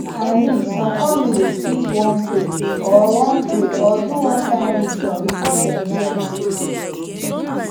i mean some families fit wan pray or wan pray or do one kind ritual before dem do any procedure